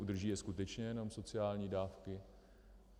Udrží je skutečně jenom sociální dávky?